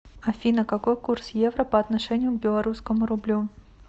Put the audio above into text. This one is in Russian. афина какой курс евро по отношению к белорусскому рублю